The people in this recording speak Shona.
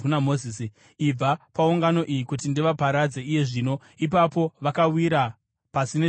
“Ibva paungano iyi kuti ndivaparadze iye zvino.” Ipapo vakawira pasi nezviso zvavo.